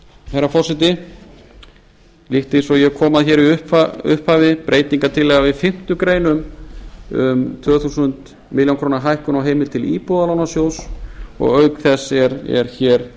herra forseti líkt eins og ég kom að hér í upphafi breytingartillaga við fimmtu grein um tvö þúsund milljónir króna hækkun á heimild til íbúðalánasjóðs og auk þess er hér